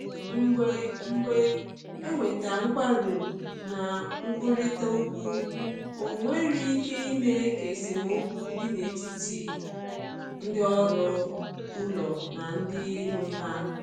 Mgbe Mgbe e nwere nkwarụ na nkwurịta okwu, ọ nwere ike ime ka esemokwu dị n’etiti ndị ọrụ ụlọ na ndị nwe ha.